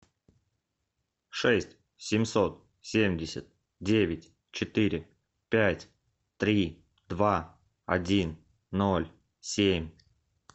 шесть семьсот семьдесят девять четыре пять три два один ноль семь